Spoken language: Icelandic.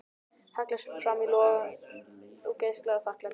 Hallar sér fram í logann og geislar af þakklæti.